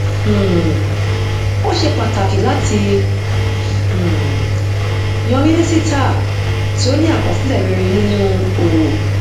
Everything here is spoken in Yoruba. um ó ṣe pàtàkí láti um yan mínísítà tí ó ní àkọsílẹ rere nínu òwò